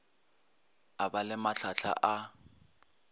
e ba le mahlahla a